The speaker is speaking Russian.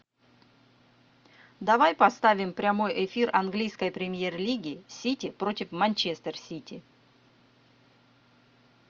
давай поставим прямой эфир английской премьер лиги сити против манчестер сити